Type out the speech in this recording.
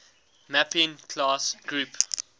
mapping class group